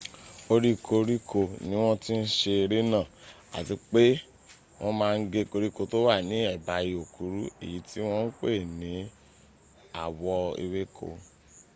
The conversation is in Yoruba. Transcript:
orí koróko ni wọ́n tí ń se eré náà àti pé wọ́n má ń gé koríko tó wà ní ẹ̀bá ihò kúrú èyí tí wọ́n ń pè ní àwọ̀ ewéko